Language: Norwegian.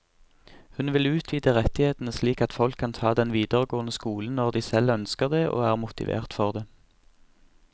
Hun vil utvide rettighetene slik at folk kan ta den videregående skolen når de selv ønsker det og er motivert for det.